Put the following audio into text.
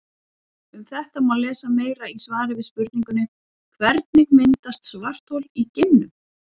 Um þetta má lesa meira í svari við spurningunni Hvernig myndast svarthol í geimnum?